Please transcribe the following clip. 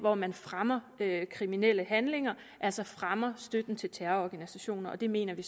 om man fremmer kriminelle handlinger altså fremmer støtten til terrororganisationer og det mener vi